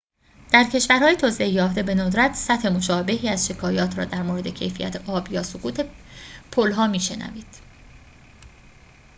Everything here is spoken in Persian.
در کشورهای توسعه یافته بندرت سطح مشابهی از شکایات را درمورد کیفیت آب یا سقوط پلها می شنوید